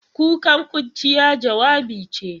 Kukan kurciya, jawabi ce.